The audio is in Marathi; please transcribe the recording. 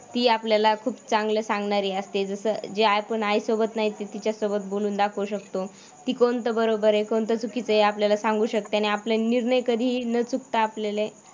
ती आपल्याला खूप चांगलं सांगणारी असते जसं जे आपण आईसोबत नाही तिच्यासोबत बोलून दाखवू शकतो. ती कोणतं बरोबर आहे, कोणतं चुकीचं आहे आपल्याला सांगू शकते आणि आपलं निर्णय कधीही न चुकता आपल्याला